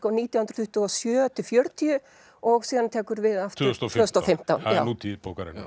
á nítján hundruð tuttugu og sjö til fjörutíu og síðan tekur við aftur tvö þúsund og fimmtán það er nútíð bókarinnar